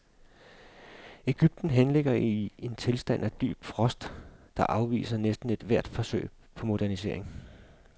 Egypten henligger i en tilstand af dyb frost, der afviser næsten ethvert forsøg på modernisering.